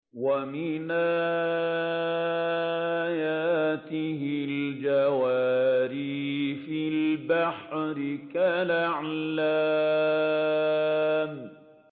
وَمِنْ آيَاتِهِ الْجَوَارِ فِي الْبَحْرِ كَالْأَعْلَامِ